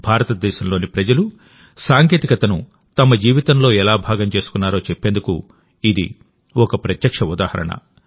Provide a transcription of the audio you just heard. భారతదేశంలోని ప్రజలు సాంకేతికతను తమ జీవితంలో ఎలా భాగం చేసుకున్నారో చెప్పేందుకు ఇది ఒక ప్రత్యక్ష ఉదాహరణ